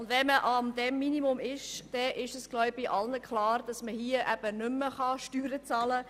Wenn man dort ist, kann man nicht mehr Steuern bezahlen.